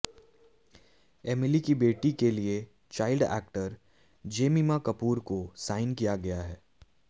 Emily की बेटी के लिए चाइल्ड एक्टर जेमिमा कपूर को साइन किया गया है